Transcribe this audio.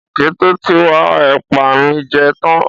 Ọ̀kété ti wa èpà mi je tán